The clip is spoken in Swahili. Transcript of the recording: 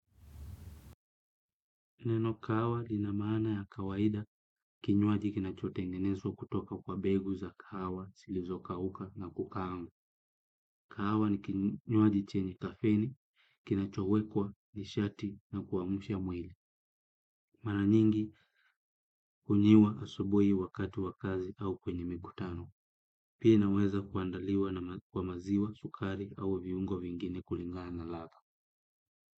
Neno kahawa lina maana ya kawaida kinywaji kinachotengenezwa kutoka kwa mbegu za kahawa, zilizokauka na kukaangwa. Kahawa ni kinywaji chenye kafeni, kinachowekwa nishati na kuamsha mwili. Mara nyingi hunywiwa asubuhi wakati wa kazi au kwenye mikutano. Pia inaweza kuandaliwa na kwa maziwa, sukari au viungo vingine kulingana na ladha.